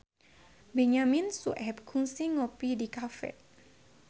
Benyamin Sueb kungsi ngopi di cafe